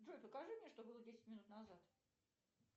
джой покажи мне что было десять минут назад